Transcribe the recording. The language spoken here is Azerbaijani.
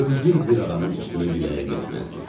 Öldür bir adamın üstünə diləyə getməzdi.